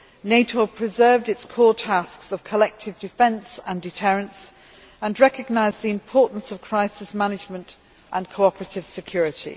NATO preserved its core tasks of collective defence and deterrents and recognised the importance of crisis management and cooperative security.